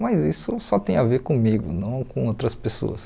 Mas isso só tem a ver comigo, não com outras pessoas.